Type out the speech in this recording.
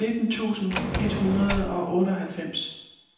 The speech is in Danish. nitten tusind et hundrede og otteoghalvfems